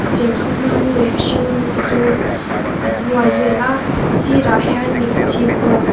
serthlum rawng leh a hring rawng te chu an hual vela a sirah hian mipa chhip ruak--